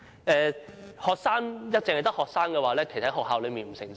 如果只有學生推動"港獨"，其實在學校內不會成事。